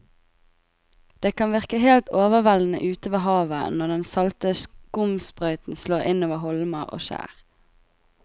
Det kan virke helt overveldende ute ved havet når den salte skumsprøyten slår innover holmer og skjær.